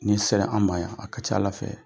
Ni sera an ma yan a ka ca ala fɛ,